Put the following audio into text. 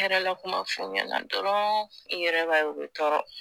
yɛrɛla kuma f'u ɲɛna dɔrɔn i yɛrɛ b'a ye u bɛ tɔɔrɔ